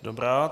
Dobrá.